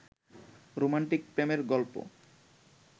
romantic প্রেমের গল্প